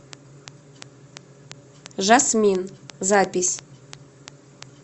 жасмин запись